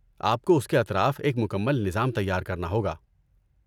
آپ کو اس کے اطراف ایک مکمل نظام تیار کرنا ہوگا۔